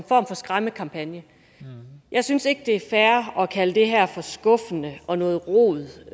form for skræmmebillede jeg synes ikke det er fair at kalde det her for skuffende og noget rod